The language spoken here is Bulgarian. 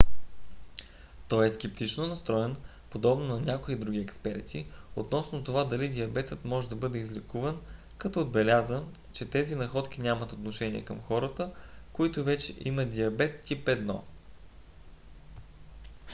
той е скептично настроен подобно на някои други експерти относно това дали диабетът може да бъде излекуван като отбеляза че тези находки нямат отношение към хората които вече имат диабет тип 1